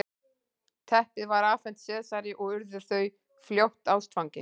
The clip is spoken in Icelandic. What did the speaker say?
teppið var afhent sesari og urðu þau fljótt ástfangin